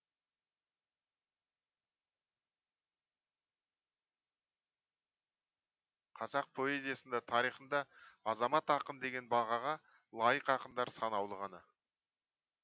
қазақ поэзиясында тарихында азамат ақын деген бағаға лайық ақындар санаулы ғана